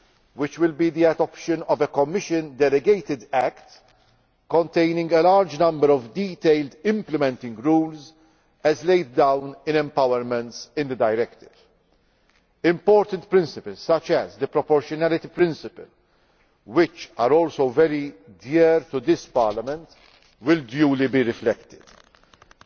II, which will be the adoption of a Commission delegated act containing a large number of detailed implementing rules, as laid down in empowerments in the directive. Important principles such as the proportionality principle, which are also very dear to this Parliament, will be duly reflected